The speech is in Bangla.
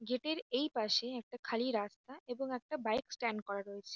গেট এর এইপাশে একটা খালি রাস্তা এবং একটা বাইক স্ট্যান্ড করা রয়েছে।